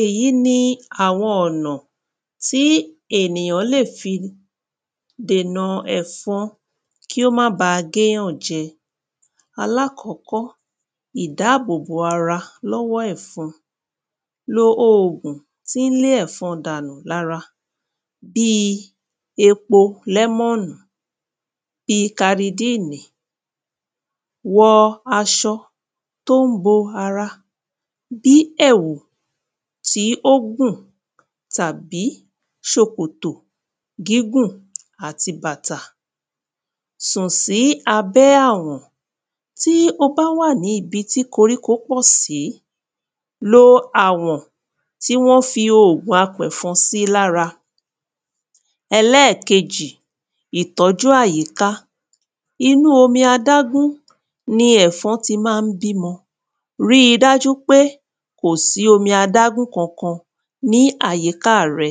Èyí ni àwọn ọ̀nà tí ènìyàn lè fi dènà ẹ̀fọn kí ó má ba g’éyàn jẹ. Alákọ́kọ́, ìdábòbò ara lọ́wọ́ ẹ̀fọn. Lo ògùn tí ń le ẹ̀fọn dànù l’ára. Bíi epo lẹ́mọ́ọ̀nù. Bi karidíìnì. Wọ aṣọ t’ó ń bo ara bi èwù tí ó gùn tàbí ṣòkòtò gígùn àti bàtà. Sùn sí abẹ́ àwọ̀n. Tí o bá wà ní ibi tí koríko pọ̀ sí, lo àwọ̀n lo àwọ̀n tí wọ́n fi oògùn apẹ̀fọn sí l’ára. Ẹlẹ́kejì, ìtọ́jú àyíká. Inú omi adágún ni ẹ̀fọn ti má ń bímọ. Ríi dá jú pé kò sí omi adágún kankan ní àyíká rẹ.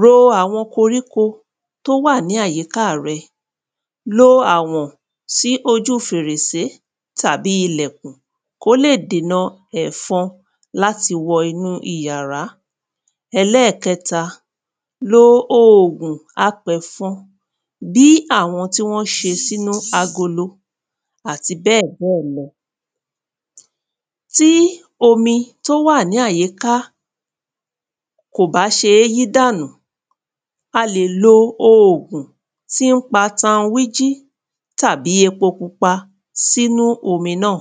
Ro àwọn koríko t’ó wà ní àyíká rẹ. Lo àwọ̀n sí ojú fèrèsé tàbí ilèkùn kó lè dèna ẹ̀fọn l’áti wọ inú iyàrá. Ẹlẹ́kẹ́ta, lo oògùn apẹ̀fọn bí àwọn tí wọ́n ṣe sínú agolo àti bẹ́ẹ̀ bẹ́ẹ̀ lọ. Tí omi t’ó wà ní àyíká kò bá ṣe é yí dànù, a lè lo oògùn tí ń pa tanwíjí tàbí epo pupa s’ínu omi náà.